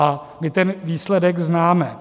A my ten výsledek známe.